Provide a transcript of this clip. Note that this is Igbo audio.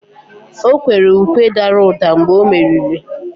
o kwere ukwe dara ụda mgbe o meriri